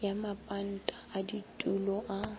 ya mapanta a ditulo a